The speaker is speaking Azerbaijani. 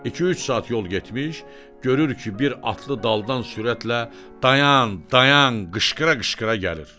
İki-üç saat yol getmiş, görür ki, bir atlı daldan sürətlə dayan, dayan qışqıra-qışqıra gəlir.